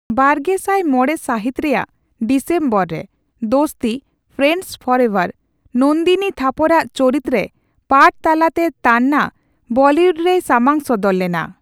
ᱵᱟᱨᱜᱮᱥᱟᱭ ᱢᱚᱲᱮ ᱥᱟᱹᱦᱤᱛ ᱨᱮᱭᱟᱜ ᱰᱤᱥᱮᱢᱵᱚᱨ ᱨᱮ ᱫᱳᱥᱛᱤ ᱺ ᱯᱷᱨᱮᱱᱰᱥ ᱯᱷᱚᱨ ᱮᱵᱷᱟᱨ, ᱱᱚᱱᱫᱤᱱᱤ ᱛᱷᱟᱯᱚᱨᱟᱜ ᱪᱚᱨᱤᱛᱨᱮ ᱯᱟᱴᱷ ᱛᱟᱞᱟᱛᱮ ᱛᱟᱱᱱᱟ ᱵᱚᱞᱤᱭᱩᱰᱨᱮᱭ ᱥᱟᱢᱟᱝ ᱥᱚᱫᱚᱨ ᱞᱮᱱᱟ ᱾